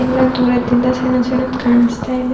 ಎಲ್ಲ ದೂರದಿಂದ ಸಣ್ಣ ಸಣ್ಣದ್ ಕಾಣಸ್ತಾ ಇದೆ.